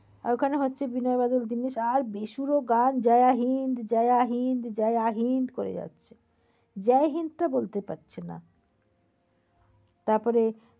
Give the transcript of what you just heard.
আর ওখানে হচ্ছে বীণের বাদল জিনিস আর বেসুরো গান জায়া হিন্দ জায়া হিন্দ জায়া হিন্দ করে যাচ্ছে। জয় হিন্দ টা বলতে পারছে না। তারপরে